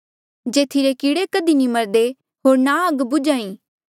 जेथी रे कीड़े कधी नी मरदे होर ना आग बुझ्हा ई